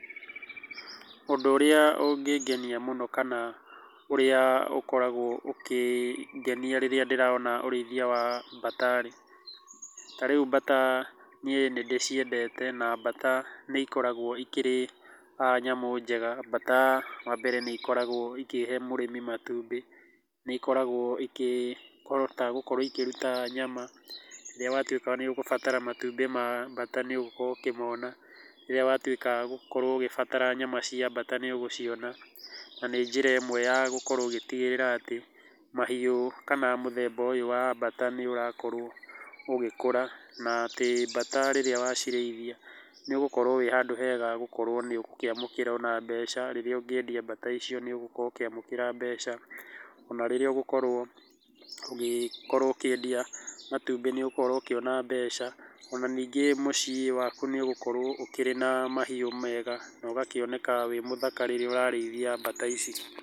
Ũndũ ũrĩa ũngĩngenia mũno kana ũrĩa ũkoragwo ũkĩngenia rĩrĩa ndĩrona ũrĩithia wa bata rĩ, tarĩu bata niĩ nĩndĩciendete na bata nĩikoragwo ikĩrĩ nyamũ njega, bata wambere nĩikoragwo ikĩhe mũrĩmi matumbĩ, nĩikoragwo ikĩhota gũkorwo ikĩruta nyama, rĩrĩa watuĩka nĩugubatara matumbĩ ma bata nĩũgũkorwo ũkĩmona, rĩrĩa watuĩka gũkorwo ũgĩbatara nyama cia bata nĩũgũciona, na nĩ njĩra ĩmwe ya gũkorwo ũgĩtigĩrĩra atĩ, mahiũ kana mũthemba ũyũ wa bata nĩũrakorwo ũgĩkũra na atĩ bata rĩrĩa wacirĩithia nĩũgũkorwo wĩ handũ hega gũkorwo nĩũgũkĩamũkĩra ona mbeca rĩrĩa ũngĩendia bata icio, nĩũgũkorwo ũkĩamũkĩra mbeca, ona rĩrĩa ũgũkorwo ũgĩkorwo ũkĩendia matumbĩ nĩũgũkorwo ũkĩona mbeca, ona ningĩ mũciĩ waku nĩũgũkorwo ukĩrĩ na mahiũ mega na ũgakĩoneka wĩ mũthaka rĩrĩa ũrarĩithia bata ici.